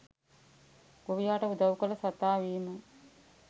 ගොවියාට උදවු කල සතා වීම.